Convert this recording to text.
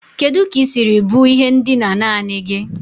Kedu ka ị siri bu ihe ndina naanị gị?